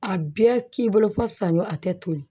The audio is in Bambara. A bɛɛ k'i bolo fo saɲɔ a tɛ toli